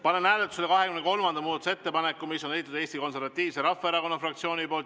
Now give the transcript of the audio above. Panen hääletusele 23. muudatusettepaneku, mille on esitanud Eesti Konservatiivse Rahvaerakonna fraktsioon.